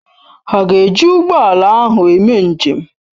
Ha ga-eji ụgbọ ala ahụ eme njem?